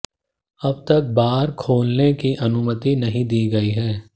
अब तक बार खोलने की अनुमति नहीं दी गई है